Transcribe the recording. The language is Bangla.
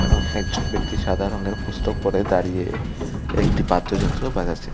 এবং একজন ব্যক্তি সাদা রঙের পুস্তক পরে দাঁড়িয়ে একটি বাদ্যযন্ত্র বাজাচ্ছে।